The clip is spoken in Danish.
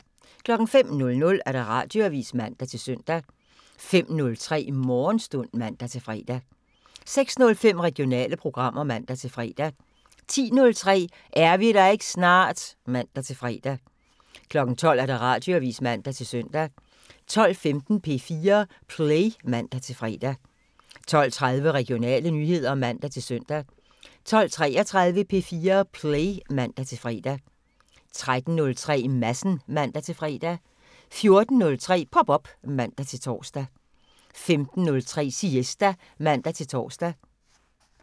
05:00: Radioavisen (man-søn) 05:03: Morgenstund (man-fre) 06:05: Regionale programmer (man-fre) 10:03: Er vi der ikke snart? (man-fre) 12:00: Radioavisen (man-søn) 12:15: P4 Play (man-fre) 12:30: Regionale nyheder (man-søn) 12:33: P4 Play (man-fre) 13:03: Madsen (man-fre) 14:03: Pop op (man-tor)